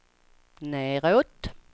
nedåt